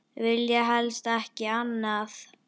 Vilja helst ekki annað.